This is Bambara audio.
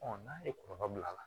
n'a ye kɔlɔlɔ bil'a la